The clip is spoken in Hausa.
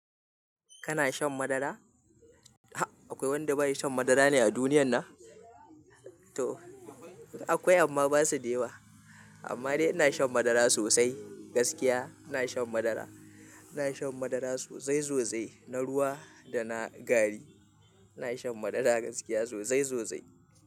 Kana shan madara? Ha! Akwai wanda baya shan madara ne a duniyan nan? To akwai amma basu da yawa. Amma dai ina shan madara sosai gaskiya ina shan madara. Ina shan madara sosai sosai na ruwa da na gari. Ina shan madara gaskiya sosai sosai.